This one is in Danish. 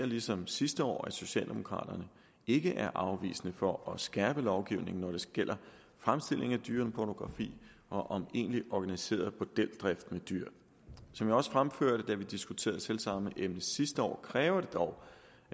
ligesom sidste år pointere at socialdemokraterne ikke er afvisende over for at skærpe lovgivningen når det gælder fremstilling af dyrepornografi og om egentlig organiseret bordeldrift med dyr som jeg også fremførte da vi diskuterede selv samme emne sidste år kræver det dog